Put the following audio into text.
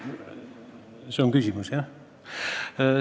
Kas see oli küsimus?